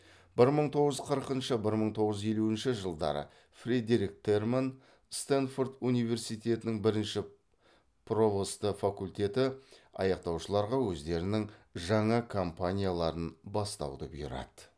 бір мың тоғыз жүз қырқыншы бір мың тоғыз жүз елуінші жылдары фредерик терман стэнфорд университетінің бірінші провосты факультетті аяқтаушыларға өздерінің жаңа компанияларын бастауды бұйырады